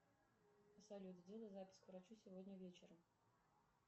салют сделай запись к врачу сегодня вечером